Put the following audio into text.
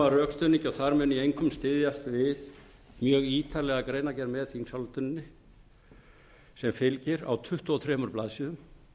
og þar mun ég einkum styðjast við mjög ítarlega greinargerð með þingsályktunartillögunni sem færir á tuttugu og þremur blaðsíðum